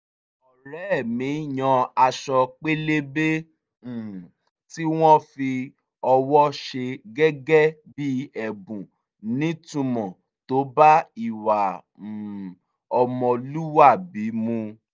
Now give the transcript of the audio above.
ọ̀rẹ́ mi yan aṣọ pélébá um tí wọ́n fi ọwọ́ ṣe gẹ́gẹ́ bí ẹ̀bùn nítumọ̀ tó bá ìwà um ọmọlúwàbí mu